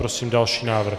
Prosím další návrh.